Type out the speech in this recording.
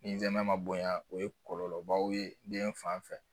Ni zɛnɛna ma bonya o ye kɔlɔlɔbaw ye den fan fɛ